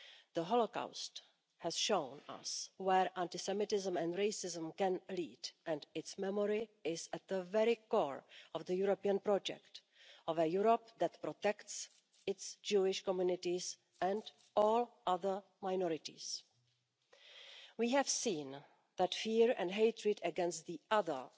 The Holocaust has shown us where anti Semitism and racism can lead and its memory is at the very core of the European project of a Europe that protects its Jewish communities and all other minorities. We have seen that fear and hatred against the other'